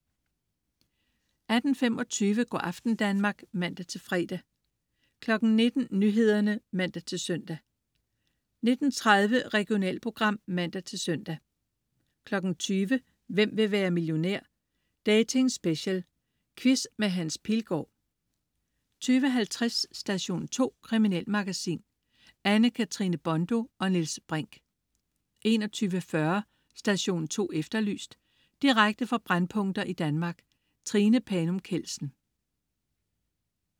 18.25 Go' aften Danmark (man-fre) 19.00 Nyhederne (man-søn) 19.30 Regionalprogram (man-søn) 20.00 Hvem vil være millionær? Dating-special. Quiz med Hans Pilgaard 20.50 Station 2. Kriminalmagasin. Anne-Katrine Bondo og Niels Brinch 21.40 Station 2 Efterlyst. Direkte fra brændpunkter i Danmark. Trine Panum Kjeldsen